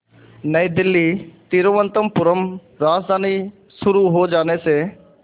नई दिल्ली तिरुवनंतपुरम राजधानी शुरू हो जाने से